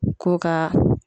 Ko ka